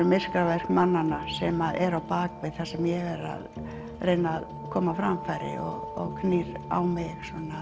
myrkraverk mannanna sem eru á bakvið það sem ég er að reyna að koma á framfæri og knýr á mig